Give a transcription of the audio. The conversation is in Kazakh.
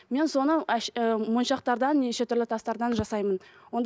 мен соны ы мойыншақтардан неше түрлі тастардан жасаймын